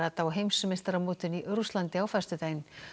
á heimsmeistaramótinu í Rússlandi á föstudag